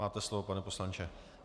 Máte slovo, pane poslanče.